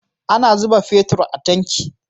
Ana zuba fetir a tanki